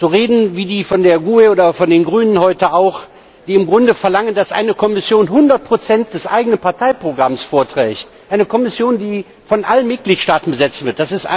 Reden wie von der GUE oder von den Grünen heute auch, die im Grunde verlangen, dass eine Kommission 100 des eigenen Parteiprogramms vorträgt, eine Kommission, die von allen Mitgliedstaaten besetzt wird.